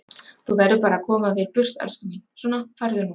Þú verður bara að koma þér burt, elskan mín, svona, farðu nú.